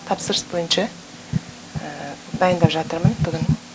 тапсырыс бойынша дайындап жатырмын бүгін